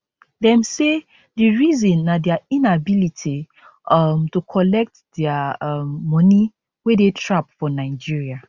dem say di reason na dia inability um to collect dia um money wey dey trap for nigeria